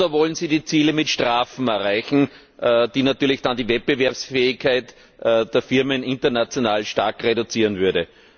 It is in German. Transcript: Oder wollen Sie die Ziele mit Strafen erreichen, die natürlich dann die Wettbewerbsfähigkeit der Firmen international stark reduzieren würden?